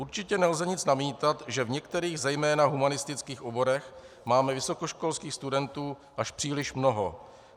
Určitě nelze nic namítat, že v některých zejména humanistických oborech máme vysokoškolských studentů až příliš mnoho.